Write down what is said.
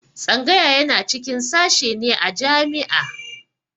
Tsangaya yana cikin sashe ne a jami'a